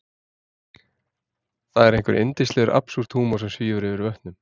Það er einhver yndislegur absúrd-húmor sem svífur yfir vötnum.